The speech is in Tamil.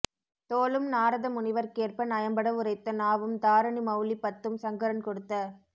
தோளும் நாரத முனிவர்க் கேற்ப நயம்பட உரைத்த நாவும் தாரணி மெளலி பத்தும் சங்கரன் கொடுத்த